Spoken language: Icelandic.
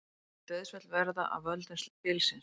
Engin dauðsföll urðu af völdum bylsins